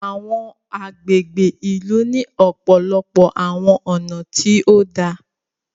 Awọn agbègbè ìlú ni ọpọlọpọ awọn ọna tí òdà